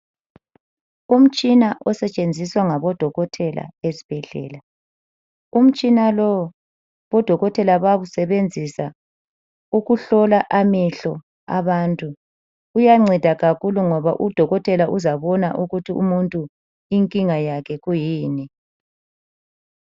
Umtshina osetshenziswa ngabodokotela esibhedlela. Umtshina lo odokotela bawusebenzisa ukuhlola amehlo abantu. Uyanceda kakhulu ngoba udokotela uzabona ukuthi umuntu inkinga yakhe kwiyini.